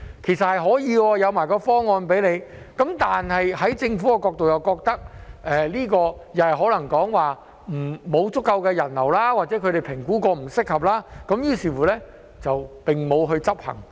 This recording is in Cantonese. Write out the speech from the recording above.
其實這是可行的，我們亦有向他提供方案，但在政府的角度而言，他們又可能覺得沒有足夠的人流，或者他們經評估後認為不適合，於是沒有推行。